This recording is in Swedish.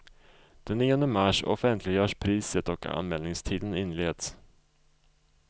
Den nionde mars offentliggörs priset och anmälningstiden inleds.